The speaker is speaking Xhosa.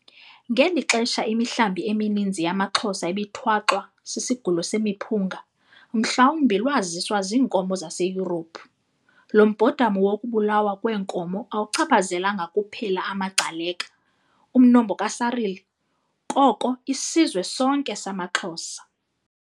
Ngeli xesha imihlambi emininzi yamaXhosa ibithwaxwa " sisigulo semiphunga ", mhlawumbi lwaziswa ziinkomo zaseYurophu. Lo mbhodamo wokubulawa kweenkomo awuchaphazelanga kuphela amaGcaleka, umnombo kaSarili, koko isizwe sonke samaXhosa.